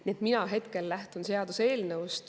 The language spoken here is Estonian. Nii et mina hetkel lähtun seaduseelnõust.